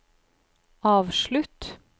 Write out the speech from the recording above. avslutt